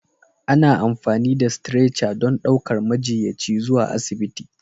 Ana amfani da Stretcher don ɗaukar majiyyaci zuwa asibiti.